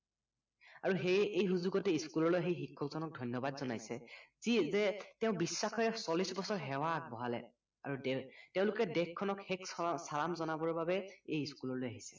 আৰু সেয়ে এই সুযোগতে school আহি শিক্ষক জনক ধন্য়বাদ জনাইছে যি যে তেওঁ বিশ্বাসেৰে চল্লিচ বছৰ সেৱা আগবঢ়ালে আৰু দে তেওঁলোকে দেশখনক শেষ চালাম জনাবৰ বাবে এই school আহিছে